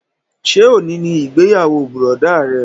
Ṣé òní ni ìgbéyàwó bùrọ̀dá rẹ?